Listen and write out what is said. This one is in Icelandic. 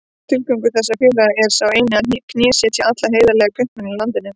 Tilgangur þessara félaga er sá einn að knésetja alla heiðarlega kaupmenn í landinu.